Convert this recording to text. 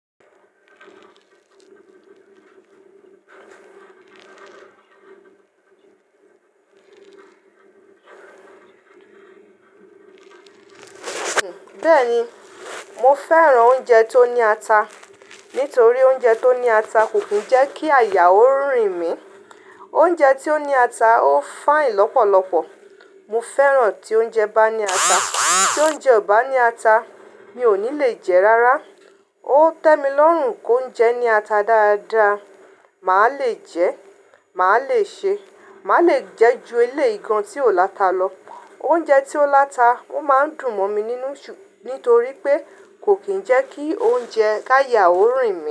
Bẹ́ẹ̀ni, mo fẹ́ràn oúnjẹ tó ní ata. Nítorí oúnjẹ tó ní ata kò kí ń jẹ́ kí àyà ó rìn mí. Oúnjẹ tí ó ní ata ó fine lọ́pọ̀lọpọ̀. Mo fẹ́ràn tí oúnjẹ bá ní ata. Tí oúnjẹ ò bá ní ata, mi ò ní lè jẹ́ rárá. Ó tẹ́ mi lọ́rùn kí oúnjẹ ní ata dáadáa, màá lè jẹ́, màá lè ṣe, màá lè jẹ́ ju ilé igun tí ò láta lọ. Oúnjẹ tí ó láta ó máa ń dùn mọ́ mi nínú, nítorí pé kò kí ń jẹ́ kí oúnjẹ káyà ó rìn mí.